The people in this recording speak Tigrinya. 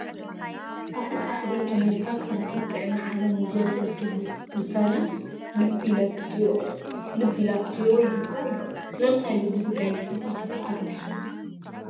ኣፍሪካ ሕብሪት ኣሜሪካ ካብ ውድብ ጥዕና ዓለም ንዝወፀቱሉ ውሳነ ልብ ኢላ ክትሪኦ ይግባእ ኢሉ፡፡ ስለምንታይ እዩ እዚ ጉዳይ ንሕብረት ኣፍሪካ ኣገዲስዎ?